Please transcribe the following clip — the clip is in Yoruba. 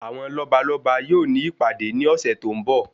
Àwọn lọ́balọ́ba yóò ní ìpàdé ní ọ̀sẹ̀ tó ń bọ̀.